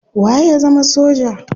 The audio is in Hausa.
Waye ya zama soja?